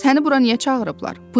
Səni bura niyə çağırıblar?